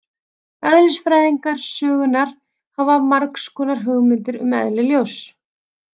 Eðlisfræðingar sögunnar hafa haft margs konar hugmyndir um eðli ljóss.